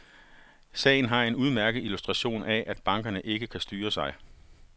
Sagen her er en udmærket illustration af, at bankerne ikke kan styre sig.